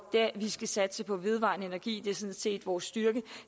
vi skal satse på vedvarende energi det er sådan set vores styrke